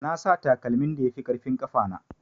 Nasa takalmin da yafi ƙarfin ƙafana.